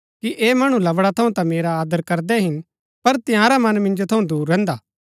ऐह मणु लवड़ा थऊँ ता मेरा आदर करदै हिन पर तंयारा मन मिन्जो थऊँ दूर रैहन्दा